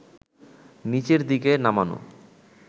নিচের দিকে নামানো